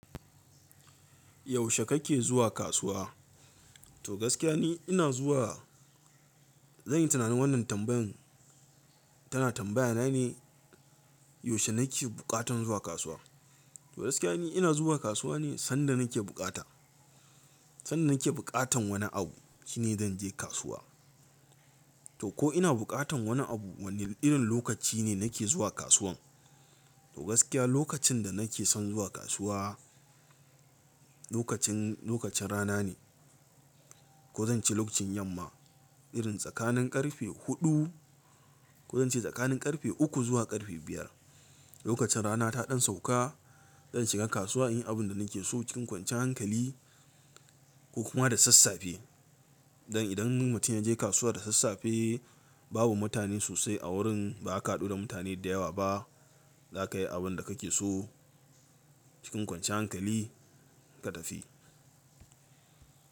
Yaushe kake zuwa kasuwa? To gaskiya ni ina zuwa, zan yi tunanin wannan tambayan tana tambaya na ne, yaushe nake buƙatan zuwa kasuwa? To gaskiya ne ina zuwa kasuwa ne sanda nake buƙata. Sanda nake buƙatan wani abu shine zan je kasuwa. To ko ina buƙatan wani abu wanne irin lokaci ne nake zuwa kasuwan? To gaskiya lokacin da nake son zuwa kasuwa lokacin, lokacin rana ne. Ko zan ce lokacin yamma irin tsakanin ƙarfe huɗu ko zan ce tsakanin ƙarfe uku zuwa ƙarfe biyar. Lokacin rana ta ɗan sauka zan shiga kasuwa in yi abin da nake so cikin kwanciyar hankali ko kuma da sassafe. Dan idan mutum yaje kasuwa da sassafe babu mutane sosai a wurin ba ka haɗu da mutane da yawa ba zaka yi abin da kake so cikin kwanciyar hankali kuma ka tafi.